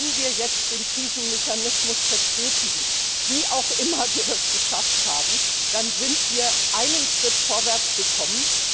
Wenn wir jetzt den Krisenmechanismus verstetigen wie auch immer wir das geschafft haben dann sind wir einen Schritt vorangekommen.